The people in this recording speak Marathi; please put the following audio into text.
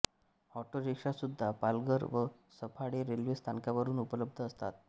अॉटोरिक्शासुद्धा पालघर व सफाळे रेल्वे स्थानकावरुन उपलब्ध असतात